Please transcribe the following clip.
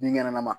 Binkɛnɛlama